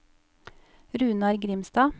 Runar Grimstad